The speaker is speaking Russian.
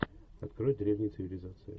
открой древние цивилизации